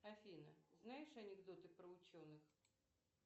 афина знаешь анекдоты про ученых